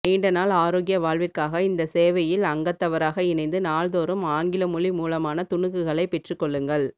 நீண்ட நாள் ஆரோக்கிய வாழ்விற்காக இந்த சேவையில் அங்கத்தவராக இணைந்து நாள்தோறும் ஆங்கில மொழி மூலமான துணுக்குகளை பெற்றுகொள்ளுங்கள்